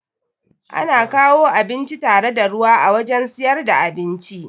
Ana kawo abinci tare da ruwa a wajan siyar da abinci